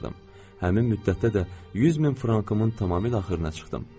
Həmin müddətdə də 100 min frankımın tamamilə axırına çıxdım.